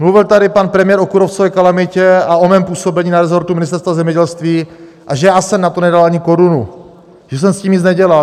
Mluvil tady pan premiér o kůrovcové kalamitě a o mém působení na resortu Ministerstva zemědělství, a že já jsem na to nedal ani korunu, že jsem s tím nic nedělal.